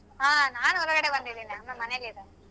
ಹಾ ನಾನ್ ಹೊರಗಡೆ ಬಂದಿದೀನಿ ಅಮ್ಮಾ ಮನೇಲೇ ಇದಾರೆ.